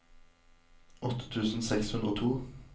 åtte tusen seks hundre og to